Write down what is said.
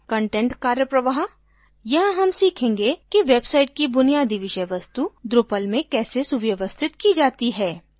content विषय वस्तु कार्यप्रवाह: यहाँ हम सीखेंगे कि वेबसाइट की बुनियादी विषय वस्तु drupal में कैसे सुव्यवस्थित की जाती है